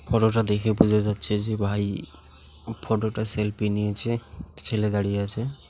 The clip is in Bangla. ফটোটা দেখে বোঝা যাচ্ছে যে ভাই-ই ফটোটা সেলফি নিয়েছে ছেলে দাঁড়িয়ে আছে ।